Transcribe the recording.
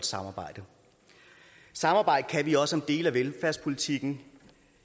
samarbejde samarbejde kan vi også om dele af velfærdspolitikken